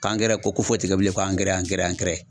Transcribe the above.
K'angɛrɛ ko ko foyi ti kɛ bilen ko angɛrɛ angɛrɛ angɛrɛ.